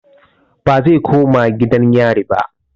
Bazai koma gidan yarin ba